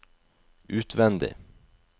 utvendig